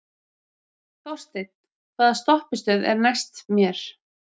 Þorsteinn, hvaða stoppistöð er næst mér?